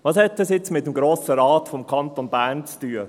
Was hat das jetzt mit dem Grossen Rat des Kantons Bern zu tun?